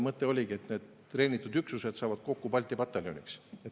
Mõte oligi, et treenitud üksused saavad kokku Balti pataljoniks.